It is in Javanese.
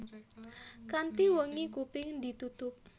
Kanthi wengi kuping ditutup